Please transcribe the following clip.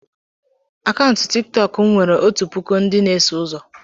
Akaụntụ tiktok m nwere otu puku ndị na-eso ụzọ.